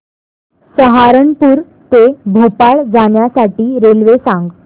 सहारनपुर ते भोपाळ जाण्यासाठी रेल्वे सांग